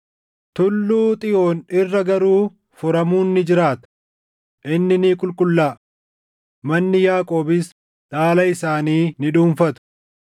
Tulluu Xiyoon irra garuu furamuun ni jiraata; inni ni qulqullaaʼa; manni Yaaqoobis dhaala isaanii ni dhuunfatu.